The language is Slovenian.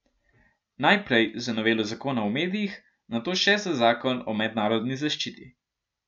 Najprej za novelo zakona o medijih, nato še za zakon o mednarodni zaščiti.